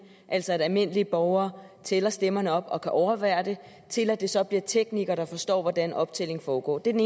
altså at almindelige borgere tæller stemmerne op og kan overvære det og til at det så bliver teknikere der forstår hvordan optællingen foregår den